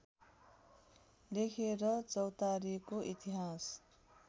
लेखेर चौतारीको इतिहास